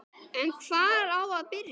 En hvar á að byrja?